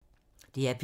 DR P2